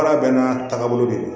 Baara bɛɛ n'a taagabolo de don